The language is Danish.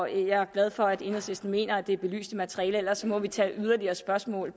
jeg er glad for at enhedslisten mener at det er belyst i materialet ellers må vi tage yderligere spørgsmål